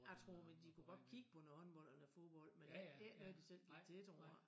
Jeg tror men de kunne godt kigge på noget håndbold eller fodbold men ikke noget de selv gik til tror jeg